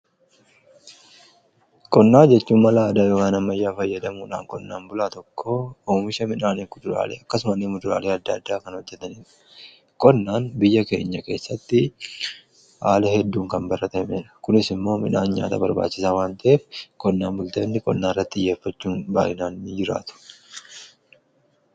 Qonna jechuun malaa aadaa yookaan ammayyaa fayyadamuudhaan qonnaan bulaa tokko oomisha midhaanif kuduraalee akkasumani muduraalee adda addaa kan hojjetaniidha. Qonnaan biyya keenya keessatti haala hedduun kan barratameedha. Kunis immoo midhaan nyaata barbaachisaa wan ta'eef qonnaan bultoonni qonnaan irratti xiyyeeffachuun baay'inaan ni jiraatu.